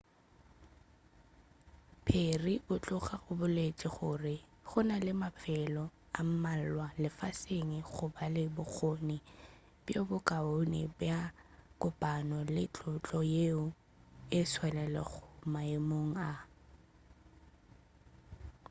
perry o tloga a boletše gore gona le mafelo a mmalwa lefaseng a go ba le bokgone bjo bo kaone bja go kopana le tlhotlo yeo e tšwelelago maemong a